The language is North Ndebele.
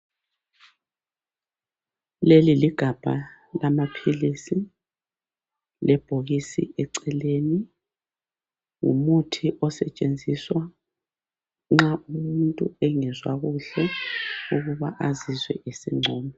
Leli ligabha lamaphilisi lebhokisi eceleni .Ngumuthi osetshenziswa nxa umuntu engezwa kuhle ukuba azizwe esengcono.